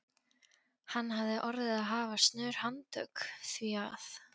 Hann hafði orðið að hafa snör handtök, því að